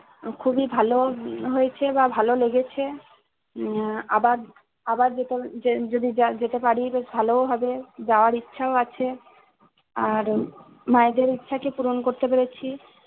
উম খুবই ভালো হয়েছে। উম বা ভাল লেগেছে। উম আবার আবার যেতেযদি যেতে পারি তো ভালো হবে যাওয়ার ইচ্ছাও আছে। আর মায়েদের ইচ্ছাকে পূরণ করতে পেরেছি